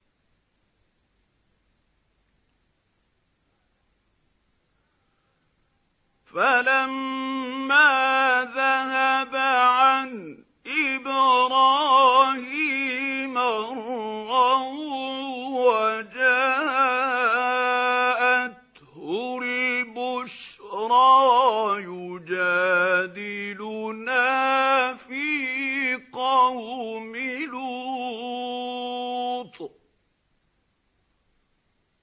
فَلَمَّا ذَهَبَ عَنْ إِبْرَاهِيمَ الرَّوْعُ وَجَاءَتْهُ الْبُشْرَىٰ يُجَادِلُنَا فِي قَوْمِ لُوطٍ